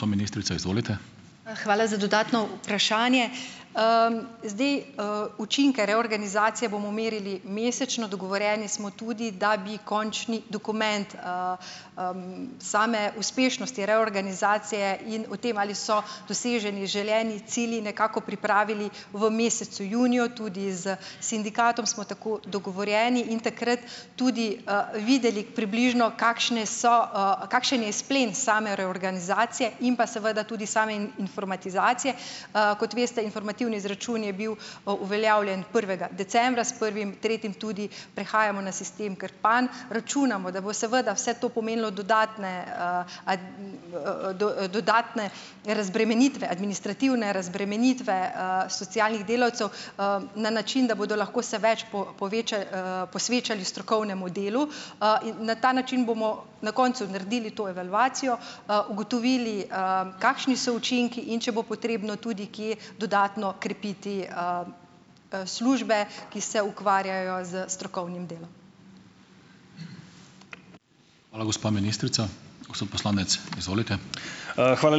Ja, hvala za dodatno vprašanje. Zdi, učinke reorganizacije bomo merili mesečno. Dogovorjeni smo tudi, da bi končni dokument, same uspešnosti reorganizacije in o tem, ali so doseženi željeni cilji nekako pripravili v mesecu juniju, tudi s sindikatom smo tako dogovorjeni. In takrat tudi, videli približno, kakšne so, kakšen je izplen same reorganizacije in pa seveda tudi same informatizacije. Kot veste, informativni izračun je bil, uveljavljen prvega decembra. S prvim tretjim tudi prehajamo na sistem Krpan. Računamo, da bo seveda vse to pomenilo dodatne, dodatne razbremenitve, administrativne razbremenitve, socialnih delavcev, na način, da bodo lahko se več posvečali strokovnemu delu. In na ta način bomo na koncu naredili to evalvacijo, ugotovili, kakšni so učinki, in če bo potrebno tudi kje dodatno krepiti, službe, ki se ukvarjajo s strokovnim delom.